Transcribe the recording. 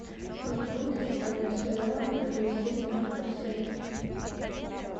сколько будет если продать сто реалов и перевести это на фунты стерлинги